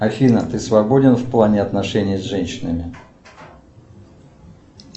афина ты свободен в плане отношений с женщинами